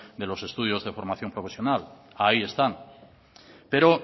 de los estudios de formación profesional ahí están pero